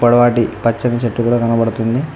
పొడవాటి పచ్చని చెట్టు కూడా కనబడుతుంది.